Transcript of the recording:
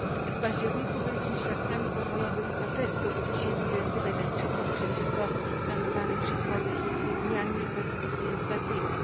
W październiku byliśmy świadkami pokojowych protestów tysięcy Tybetańczyków przeciwko planowanej przez władze chińskie zmianie polityki edukacyjnej.